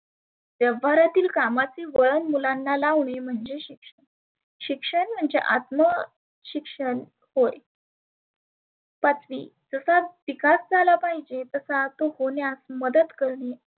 व्यवहारातील कामाचे वळण मुलांना लावने म्हणजेच शिक्षण. शिक्षण म्हणजे आत्मा शिक्षण होय. पाचवी तसाच विकास झाला पाहीजे तसा तो होण्यास मदत करणे